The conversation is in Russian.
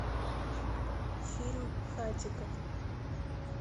фильм хатико